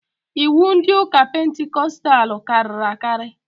Iwu ndị ụka pentikostal karịrị akarị